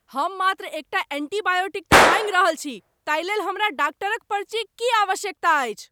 हम मात्र एकटा एंटीबायोटिक तँ माँगि रहल छी! ताहिलेल हमरा डाक्टरक पर्चीक की आवश्यकता अछि?